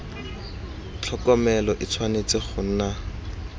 tlhokomelo e tshwanetse go nna